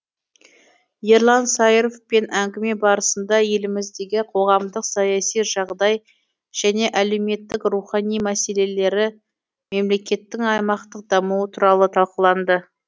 ерлан саировпен әңгіме барысында еліміздегі қоғамдық саяси жағдай және әлеуметтік рухани мәселелері мемлекеттің аймақтық дамуы туралы талқыланды